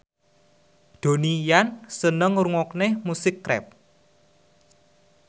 Donnie Yan seneng ngrungokne musik rap